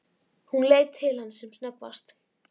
Hún leit til hans sem snöggvast.